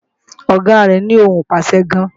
Ọ̀gá rẹ́ ní ohùn ìpàṣẹ gan